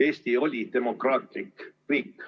Eesti oli demokraatlik riik.